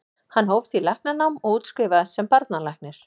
Hann hóf því læknanám og útskrifaðist sem barnalæknir.